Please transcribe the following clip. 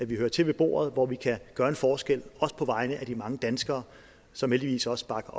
vi hører til ved bordet hvor vi kan gøre en forskel også på vegne af de mange danskere som heldigvis også bakker